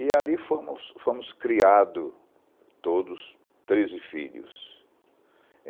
E ali fomos fomos criado todos treze filhos.